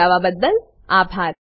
જોડાવા બદલ આભાર